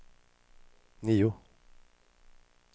nio